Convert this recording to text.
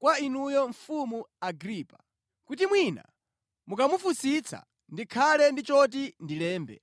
kwa inuyo mfumu Agripa, kuti mwina mukamufunsitsa ndikhale ndi choti ndilembe.